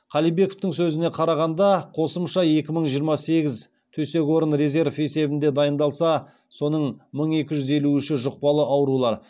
қалибековтің сөзіне қарағанда қосымша екі мың жиырма сегіз төсек орын резерв есебінде дайындалса соның мың екі жүз елу үші жұқпалы аурулар